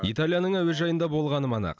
италияның әуежайында болғаным анық